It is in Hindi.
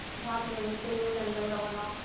भाग लेने के लिए लंदन रवाना हो गए